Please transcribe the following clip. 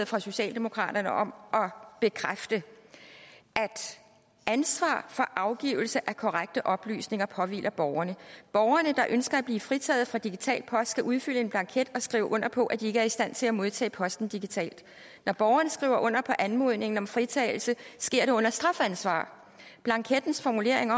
fra socialdemokraterne om at bekræfte at ansvaret for afgivelse af korrekte oplysninger påhviler borgerne borgerne der ønsker at blive fritaget for digital post skal udfylde en blanket og skrive under på at de ikke er i stand til at modtage posten digitalt når borgeren skriver under på anmodningen om fritagelse sker det under strafansvar og blankettens formulering